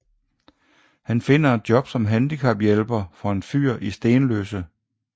Han finder et job som handicaphjælper for en fyr i Stenløse